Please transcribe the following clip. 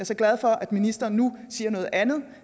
så glad for at ministeren nu siger noget andet